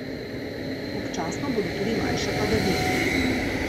Občasno bodo tudi manjše padavine.